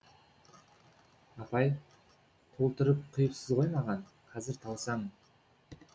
апай толтырып құйыпсыз ғой маған қазір тауысамын